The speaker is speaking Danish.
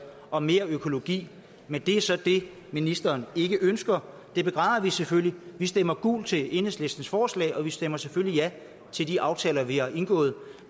og mere økologi men det er så det ministeren ikke ønsker det begræder vi selvfølgelig vi stemmer gult til enhedslistens forslag og vi stemmer selvfølgelig ja til de aftaler vi har indgået